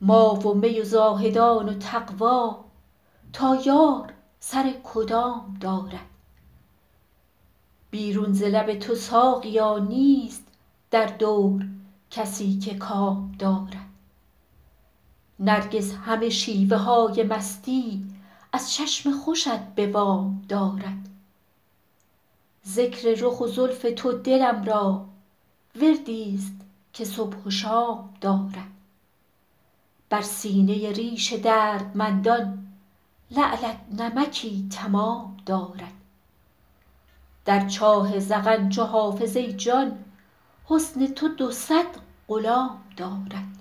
ما و می و زاهدان و تقوا تا یار سر کدام دارد بیرون ز لب تو ساقیا نیست در دور کسی که کام دارد نرگس همه شیوه های مستی از چشم خوشت به وام دارد ذکر رخ و زلف تو دلم را وردی ست که صبح و شام دارد بر سینه ریش دردمندان لعلت نمکی تمام دارد در چاه ذقن چو حافظ ای جان حسن تو دو صد غلام دارد